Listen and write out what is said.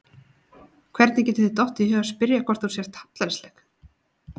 Hvernig getur þér dottið í hug að spyrja hvort þú sért hallærisleg!